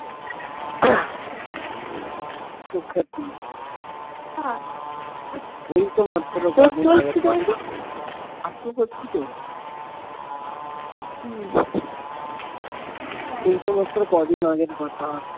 সুখ্যাতি আহ এইতো মাত্র আস্তে পড়ছি তো উম এইতো মাত্র কদিন আগের কথা